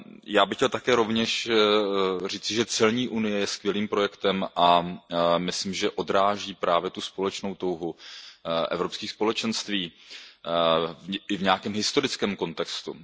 Já bych chtěl také rovněž říci, že celní unie je skvělým projektem a myslím, že odráží právě tu společnou touhu Evropských společenství i v nějakém historickém kontextu.